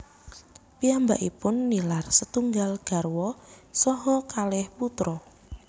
Piyambakipun nilar setunggal garwa saha kalih putra